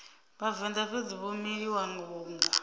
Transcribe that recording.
vhavenḓa fhedzi vho miliwa vhunga